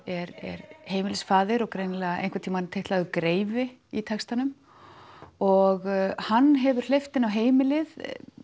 er heimilisfaðir og greinilega titlaður greifi í textanum og hann hefur hleypt inn á heimilið